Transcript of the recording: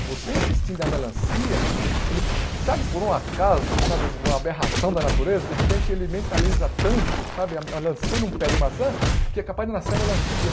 Se você insistir em dar melancia, ele sabe por um acaso, sabe, uma aberração da natureza, de repente ele mentaliza tanto, sabe, a melancia num pé de maçã, que é capaz de nascer a melancia.